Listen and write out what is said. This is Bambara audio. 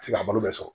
sigi ka balo bɛɛ sɔrɔ